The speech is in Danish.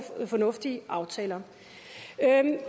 fornuftige aftaler